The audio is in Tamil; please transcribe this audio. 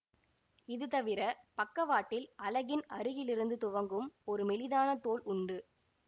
இது தவிர பக்கவாட்டில் அலகின் அருகிலிருந்து துவங்கும் ஒரு மெலிதான தோல் உண்டு